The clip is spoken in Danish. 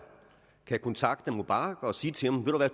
kan kontakte mubarak og sige til ham